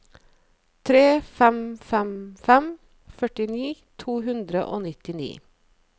tre fem fem fem førtini to hundre og nittini